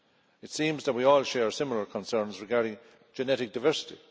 It seems that we all share similar concerns regarding genetic diversity.